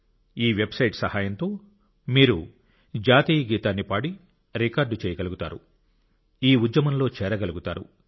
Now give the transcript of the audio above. ఈ వెబ్సైట్ సహాయంతో మీరు జాతీయ గీతాన్ని పాడి రికార్డ్ చేయగలుగుతారు ఈ ఉద్యమంలో చేరగలుగుతారు